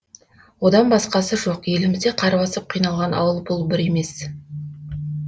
одан басқасы жоқ елімізде қар басып қиналған ауыл бұл бір емес